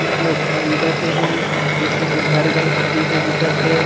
कुछ लोग ख़रीदत हे अऊ पीछे में घर-घर जइसे दिखत हे।